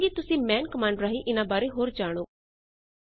ਮੈਂ ਚਾਹਾਂਗੀ ਕਿ ਤੁਸੀ ਮਾਨ ਕਮਾੰਡ ਰਾਹੀ ਇਨਾਂ ਬਾਰੇ ਹੋਰ ਜਾਣੋ